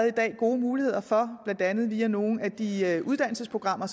i dag gode muligheder for blandt andet via nogle af de uddannelsesprogrammer